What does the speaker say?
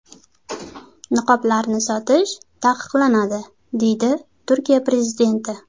Niqoblarni sotish taqiqlanadi”, deydi Turkiya prezidenti.